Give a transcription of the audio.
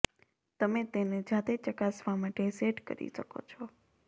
તમે તેને જાતે ચકાસવા માટે સેટ કરી શકો છો